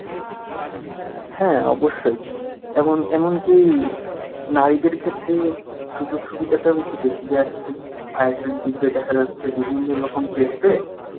হ্যাঁ অবশ্যই এমন এমন কি নারীদের ক্ষেত্রে সুযোগ সুবিধাটাও একটু বেশি দেওয়া থাকে ISSB তে দেখা যাচ্ছে বিভিন্ন রকম test এ